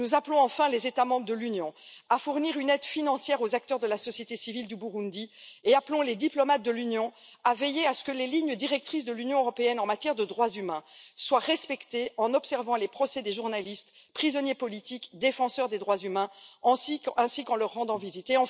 Nous appelons enfin les États membres de l'Union à fournir une aide financière aux acteurs de la société civile du Burundi et appelons les diplomates de l'Union à veiller à ce que les lignes directrices de l'Union européenne en matière de droits humains soient respectées, en observant les procès des journalistes prisonniers politiques et des défenseurs des droits humains, ainsi qu'en leur rendant visite.